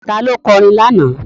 Ta ló kọ orin lánàá?